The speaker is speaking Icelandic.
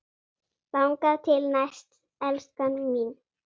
Þangað til næst, elskan mín.